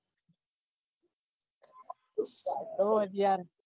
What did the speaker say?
તો પછી યાર